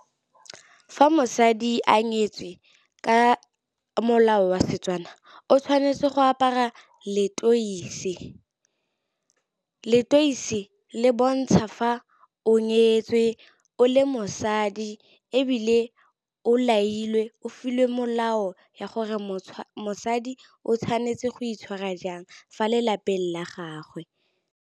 Fa mosadi a nyetswe ka molao wa Setswana, o tshwanetse go apara letoisi. Letoisi le bontsha fa o nyetswe o le mosadi. Ebile o lailwe o filwe molao ya gore mosadi o tshwanetse go itshwara jang fa lelapeng la gagwe.